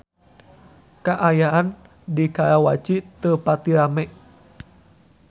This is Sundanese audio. Kaayaan di Karawaci teu pati rame